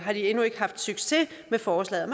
endnu ikke haft succes med forslaget